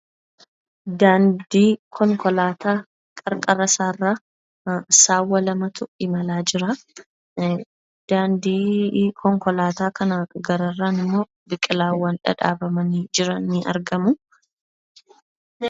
Daandii konkolaataa qarqara isaa irra saawwa lamatu imalaa jira. Daandii konkolaataa kana gararraa isaan immoo biqilaawwan dhadhaabamanii jiran ni argamu.